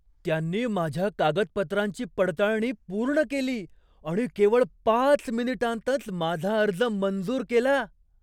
त्यांनी माझ्या कागदपत्रांची पडताळणी पूर्ण केली आणि केवळ पाच मिनिटांतच माझा अर्ज मंजूर केला!